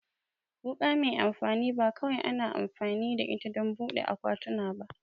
Wuka mai amfani ba kawai ana amfani da ita don buɗe akwatuna ba